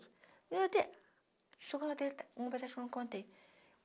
E eu até... Chegando até... Uma coisa que eu não contei.